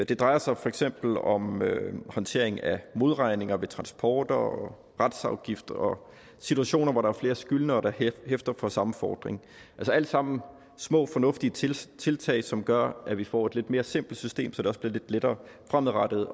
det drejer sig for eksempel om håndtering af modregning ved transporter retsafgift og situationer hvor der er flere skyldnere der hæfter for samme fordring alt sammen små fornuftige tiltag tiltag som gør at vi får et lidt mere simpelt system så det også bliver lidt lettere fremadrettet